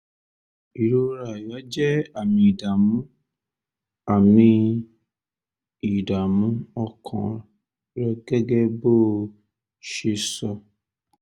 ìrora àyà jẹ́ àmì ìdààmú àmì ìdààmú ọkàn rẹ gẹ́gẹ́ bó o ṣe sọ